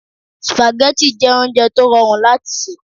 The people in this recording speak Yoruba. Spaghetti jẹ́ oúnjẹ tó rọrùn láti sè